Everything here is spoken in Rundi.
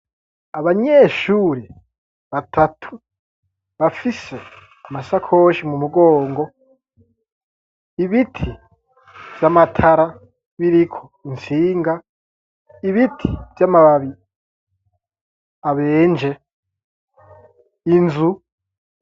Abanyeshuri batatu bafise amasakoshi mu mugongo ibiti vy'amatara biriko insinga ibiti vy'amababi abenje inzu.